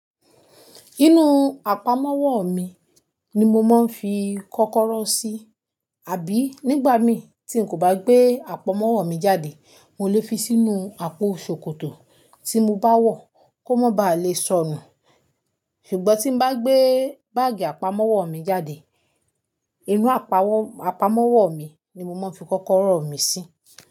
Inú àpamọ́wọ́ mi ni mo máa ń fi kọ́kọ́rọ́ sí. Àbí nígbà mí tí n kò bá gbé àpamọ́wọ́ mi jáde, mo lè fi sínú àpò ṣòkòtò tí mo bá wọ̀ kó má báà lè sọnù. Ṣùgbọ́n tí n bá gbé báàgì àpamọ́wọ́ mi jáde, inú àpamọ́wọ́ mi ni mo máa ń fi kọ́kọ́rọ́ mi sí.